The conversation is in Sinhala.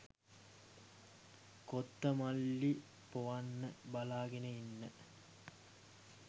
කොත්තමල්ලි පොවන්න බලාගෙන ඉන්න